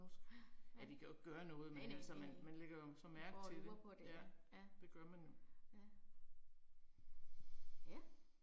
Ja, ja. Næ næ, næ næ. Går og lurer på det ja, ja. Ja. Ja